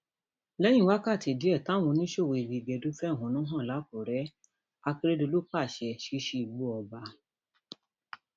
lẹyìn wákàtí díẹ táwọn oníṣòwò igi gẹdú fẹhónú hàn làkúrẹ akérèdọlù pàṣẹ ṣíṣí igbó ọba